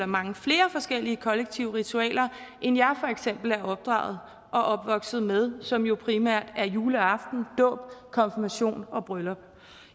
mange flere forskellige kollektive ritualer end jeg for eksempel er opdraget og opvokset med som jo primært er juleaften dåb konfirmation og bryllup